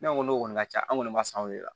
Ne ko n'o kɔni ka ca anw kɔni ma san o de